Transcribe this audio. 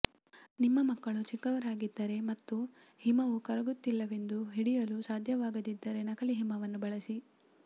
ನಿಮ್ಮ ಮಕ್ಕಳು ಚಿಕ್ಕವರಾಗಿದ್ದರೆ ಮತ್ತು ಹಿಮವು ಕರಗುತ್ತಿಲ್ಲವೆಂದು ಹಿಡಿಯಲು ಸಾಧ್ಯವಾಗದಿದ್ದರೆ ನಕಲಿ ಹಿಮವನ್ನು ಬಳಸಿ